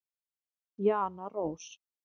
Jana Rós.